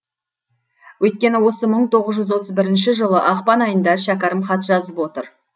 өйткені осы мың тоғыз жүз отыз бірінші жылы ақпан айында шәкәрім хат жазып отыр